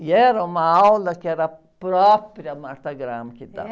E era uma aula que era a própria Martha Graham que dava.